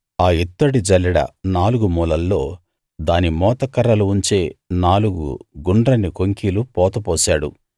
ఆ ఇత్తడి జల్లెడ నాలుగు మూలల్లో దాని మోతకర్రలు ఉంచే నాలుగు గుండ్రని కొంకీలు పోతపోశాడు